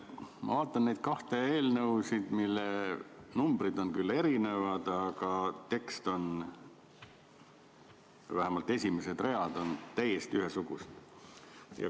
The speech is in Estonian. Ma vaatan neid kahte eelnõu, mille numbrid on küll erinevad, aga tekst – vähemalt esimesed read – on täiesti ühesugused.